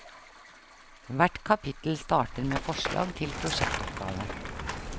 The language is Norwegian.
Hvert kapittel starter med forslag til prosjektoppgave.